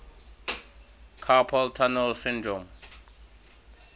carpal tunnel syndrome